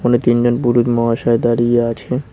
তিনজন পুরুত মহাশয় দাঁড়িয়ে আছে।